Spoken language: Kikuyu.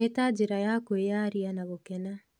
Nĩ ta njĩra ya kwĩyaria ya gũkena.